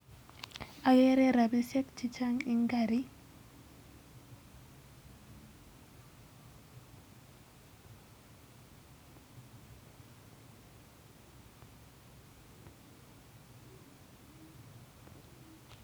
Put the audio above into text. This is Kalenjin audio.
Agere rabishek chechang eng karit